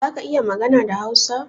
Zaka iya magana da Hausa?